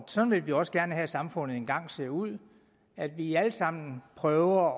sådan vil vi også gerne have at samfundet engang ser ud at vi alle sammen prøver